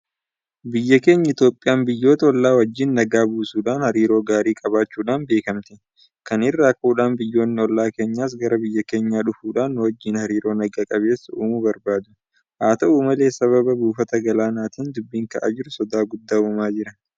Biyyi keenya Itoophiyaan biyyoota hollaa wajjin nagaa buusuudhaan hariiroo gaarii qabaachuudhaan beekamti. Kana irraa ka'uudhaan biyyoonni ollaa kenyaas gara biyya keenyaa dhufuudhaan nuwajjin hariiroo naga qabeessa uumuu barbaadu. Haata'u malee sababa buufata galaanaatiin dubbiin ka'aa jiru sodaa guddaa uumaa jira.